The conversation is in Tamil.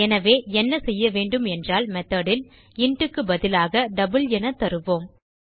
எனவே என்ன செய்யவேண்டும் என்றால் மெத்தோட் ல் இன்ட் க்கு பதிலாக டபிள் என தருவோம்